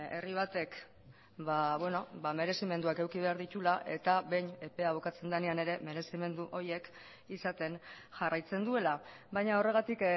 herri batek merezimenduak eduki behar dituela eta behin epea bukatzen denean ere merezimendu horiek izaten jarraitzen duela baina horregatik